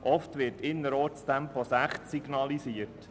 Oft wird innerorts Tempo 60 km/h signalisiert.